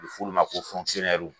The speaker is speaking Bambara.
U bu f'ulu ma ko